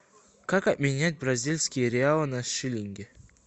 как обменять бразильские реалы на шиллинги